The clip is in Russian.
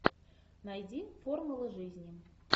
найди формула жизни